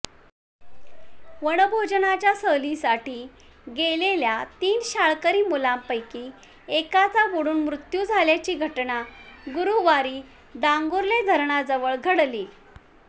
वनभोजनाच्या सहलीसाठी गेलेल्या तीन शाळकरी मुलांपैकी एकाचा बुडून मृत्यू झाल्याची घटना गुरुवारी डांगुर्ले धरणाजवळ घडली